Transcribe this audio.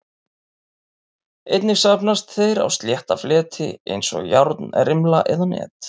Einnig safnast þeir á slétta fleti eins og járnrimla eða net.